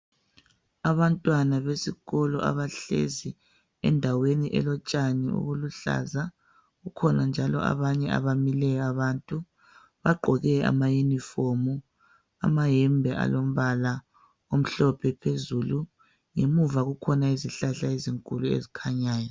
Abantwana besikolo abahlezi endaweni elotshani obuluhlaza. Kukhona njalo abamileyo abantu. Bagqoke ama uniform, amayembe alombala omhlophe phezulu. Ngemuva kukhona izihlahla ezinkulu ezikhanyayo.